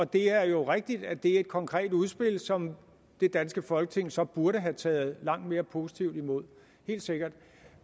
det er jo rigtigt at det er et konkret udspil som det danske folketing så burde have taget langt mere positivt imod helt sikkert